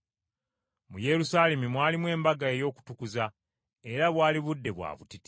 Mu Yerusaalemi mwalimu embaga ey’Okutukuza, era bwali budde bwa butiti.